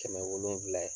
Kɛmɛ wolonwula